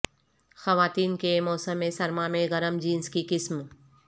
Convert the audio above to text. خواتین کے موسم سرما میں گرم جینس کی قسم